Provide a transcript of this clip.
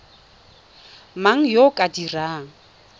mang yo o ka dirang